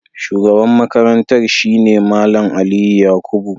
Shugaban Makarantar shi ne Mallam Aliyu Yakubu.